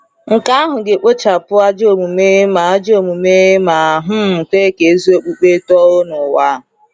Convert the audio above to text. Nke ahụ ga-ekpochapụ ajọ omume ma ajọ omume ma um kwe ka ezi okpukpe too n’ụwa.